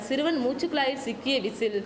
சிறுவன் மூச்சு குழாயில் சிக்கிய விசில்